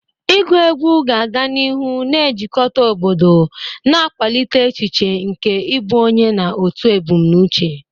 Agụ egwu ga-aga n'ihu na-ejikọta obodo, na-akwalite echiche nke ịbụ onye na otu ebumnuche.